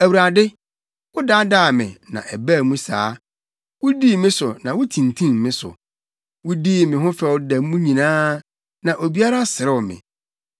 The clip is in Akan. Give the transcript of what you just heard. Awurade, wodaadaa me na ɛbaa mu saa; wudii me so na wutintim me so. Wodii me ho fɛw da mu nyinaa; na obiara serew me.